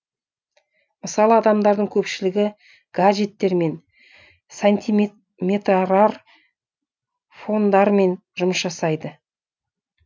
мысалы адамдардың көпшілігі гаджеттермен сантиметрартфондармен жұмыс жасайды